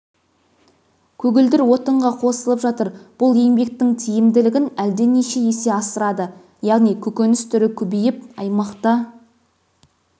көгілдір отынға қосылып жатыр бұл еңбектің тиімділігін әлденеше есе асырады яғни көкөніс түрі көбейіп аймақта